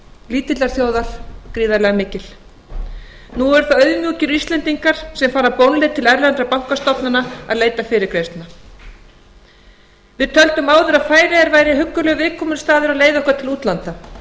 lítillar þjóðar gríðarlega mikið nú eru það auðmjúkir íslendingar sem fara bónleið til erlendra bankastofnana að leita fyrirgreiðslna við töldum áður að færeyjar væru huggulegur viðkomustaður á leið okkar til útlanda